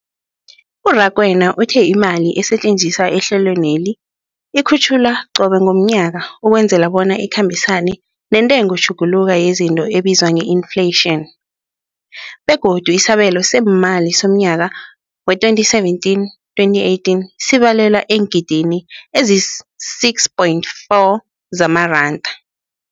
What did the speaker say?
U-Rakwena uthe imali esetjenziswa ehlelweneli ikhutjhulwa qobe ngomnyaka ukwenzela bona ikhambisane nentengotjhuguluko yezinto ebizwa nge-infleyitjhini, begodu isabelo seemali somnyaka we-2017, 2018 sibalelwa eengidigidini ezisi-6.4 zamaranda.